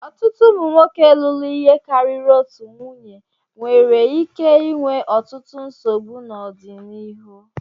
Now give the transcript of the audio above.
Ọtụtụ ụmụ nwoke lụrụ ihe karịrị otu nwunye nwere ike inwe ọtụtụ nsogbu n'ọdịnihu.